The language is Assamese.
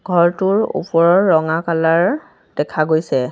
ঘৰটোৰ ওপৰৰ ৰঙা কালাৰ দেখা গৈছে।